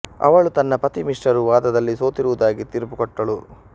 ಅವಳು ತನ್ನ ಪತಿ ಮಿಶ್ರರು ವಾದದಲ್ಲಿ ಸೋತಿರವುದಾಗಿ ತೀರ್ಪು ಕೊಟ್ಟಳು